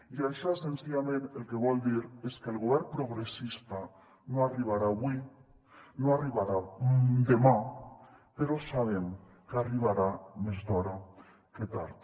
i això senzillament el que vol dir és que el govern progressista no arribarà avui no arribarà demà però sabem que arribarà més d’hora que tard